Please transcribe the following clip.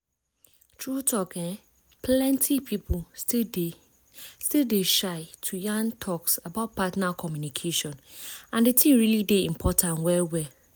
true talk eh plenty people still dey still dey shy to yan talks about partner communication and the thing really dey important well well.